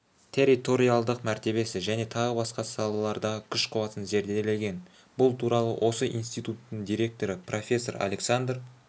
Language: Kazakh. территориалдық мәртебесі және тағы басқа салалардағы күш-қуатын зерделеген бұл туралы осы институттың директоры профессор александр